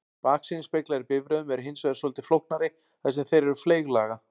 Baksýnisspeglar í bifreiðum eru hins vegar svolítið flóknari þar sem þeir eru fleyglaga.